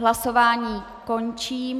Hlasování končím.